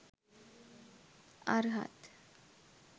අර්හත්,